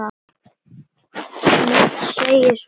Hvað geturðu sagt um þetta?